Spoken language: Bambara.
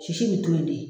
Sisi bɛ to yen